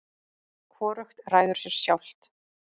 hvorugt ræður sér sjálft